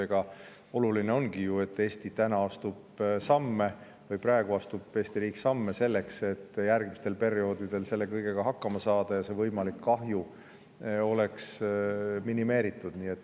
Ega oluline ongi ju, et Eesti riik astub praegu samme selleks, et järgmistel perioodidel selle kõigega hakkama saada ja et see võimalik kahju oleks minimeeritud.